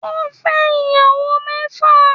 Ó fẹ́ ìyàwó mẹ́fà